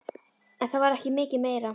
En það var ekki mikið meira.